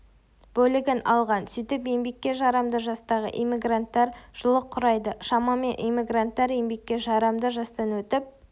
бөлігін алған сөйтіп еңбекке жарамды жастағы эммигранттар жылы құрайды шамамен эммигранттар еңбекке жарамды жастан өтіп